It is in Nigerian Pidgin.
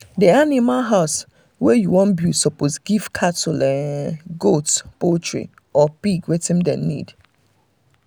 the animal um house wey you wan build suppose fit give cattle um goat poultry um or pig watin dem need